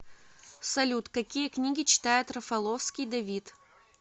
салют какие книги читает рафаловский давид